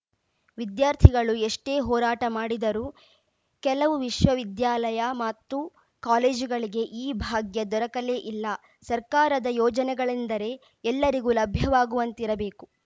ವಿದ್ಯಾರ್ಥಿಗಳು ಎಷ್ಟೇ ಹೋರಾಟ ಮಾಡಿದರು ಕೆಲವು ವಿಶ್ವ ವಿದ್ಯಾಲಯ ಮತ್ತು ಕಾಲೇಜುಗಳಿಗೆ ಈ ಭಾಗ್ಯ ದೊರಕಲೇ ಇಲ್ಲ ಸರ್ಕಾರದ ಯೋಜನೆಗಳೆಂದರೆ ಎಲ್ಲರಿಗೂ ಲಭ್ಯವಾಗುವಂತಿರಬೇಕು